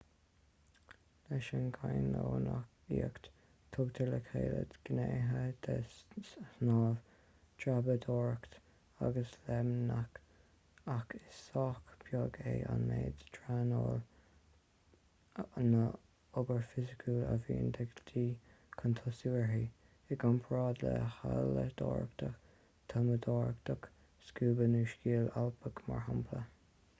leis an gcainneonaíocht tugtar le chéile gnéithe de shnámh dreapadóireacht agus léimneach--ach is sách beag é an méid traenála nó obair fhisiciúil a bhíonn de dhíth chun tosú uirthi i gcomparáid le hailleadóireacht tumadóireacht scúba nó sciáil alpach mar shampla